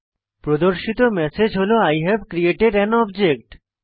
প্রদর্শিত ম্যাসেজ হল I have created an object